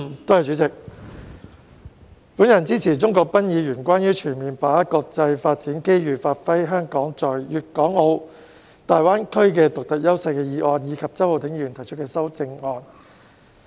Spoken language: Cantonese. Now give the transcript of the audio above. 代理主席，我支持鍾國斌議員提出的"全面把握國家發展機遇，發揮香港在粵港澳大灣區的獨特優勢"議案，以及周浩鼎議員提出的修正案。